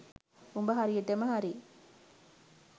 උඹ හරියටම හරි